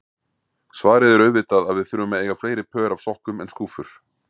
Svarið er auðvitað að við þurfum að eiga fleiri pör af sokkum en skúffur.